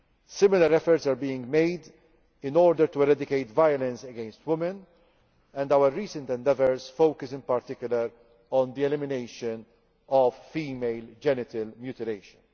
Similar efforts are being made to eradicate violence against women, and our recent endeavours focus in particular on the elimination of female genital mutilation.